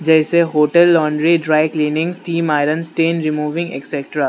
जैसे hotel laundry dry cleaning steam iron stain removing extras.